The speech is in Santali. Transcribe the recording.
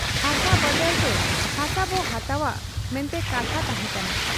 ᱦᱟᱥᱟ ᱵᱟᱫᱟᱞᱛᱮ ᱦᱟᱥᱟᱵᱚ ᱦᱟᱛᱟᱣ ᱟ ᱢᱮᱱᱛᱮ ᱠᱟᱛᱷᱟ ᱛᱟᱦᱮᱸ ᱠᱟᱱᱟ ᱾